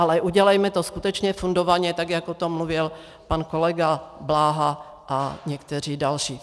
Ale udělejme to skutečně fundovaně, tak jak o tom mluvil pan kolega Bláha a někteří další.